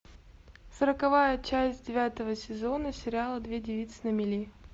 сороковая часть девятого сезона сериала две девицы на мели